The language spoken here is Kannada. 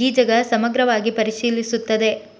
ಗೀಜಗ ಸಮಗ್ರವಾಗಿ ಪರಿಶೀಲಿಸುತ್ತದೆ